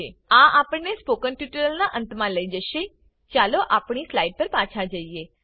આ આપણને spoken tutorial ના અંત માં લઇ જશેચાલો આપણી સ્લાઈડ પર પાછા જઈએ